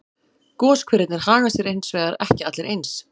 Goshverirnir haga sér hins vegar ekki allir eins.